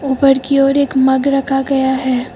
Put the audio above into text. ऊपर की ओर एक मग रखा गया है।